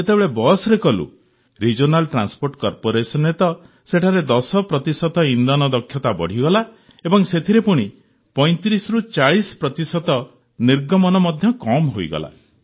ଆଉ ଯେତେବେଳେ ବସ୍ରେ କଲୁ ରିଜିଓନାଲ୍ ଟ୍ରାନ୍ସପୋର୍ଟ କର୍ପୋରେସନରେ ତ ସେଠାରେ ୧୦ ପ୍ରତିଶତ ଇନ୍ଧନ ଦକ୍ଷତା ବଢ଼ିଗଲା ଏବଂ ସେଥିରେ ପୁଣି ୩୫୪୦ ପ୍ରତିଶତ ନିର୍ଗମନ ମଧ୍ୟ କମ୍ ହୋଇଗଲା